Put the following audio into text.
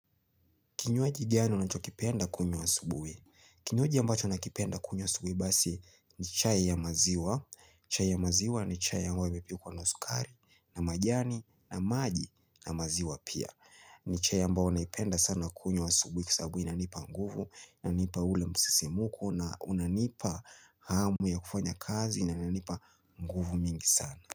Kinywaji gani unachokipenda kunywa asubuhi. Kinywaji ambacho nakipenda kunywa asubuhi basi ni chai ya maziwa. Chai ya maziwa ni chai ambayo imepikwa na sukari na majani na maji na maziwa pia. Ni chai ambao naipenda sana kunywa asubuhi kwa sababu inanipa nguvu, inanipa ule msisimko na unanipa hamu ya kufanya kazi na inayonipa nguvu mingi sana.